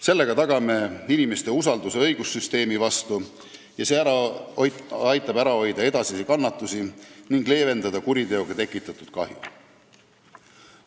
Sellega tagame inimeste usalduse õigussüsteemi vastu ja see aitab ära hoida edasisi kannatusi ning leevendada kuriteoga tekitatud kahju.